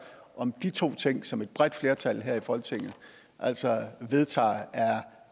om de to ting som et bredt flertal her i folketinget altså vedtager er